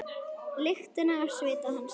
Lyktina af svita hans.